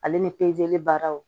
Ale ni pezeli baaraw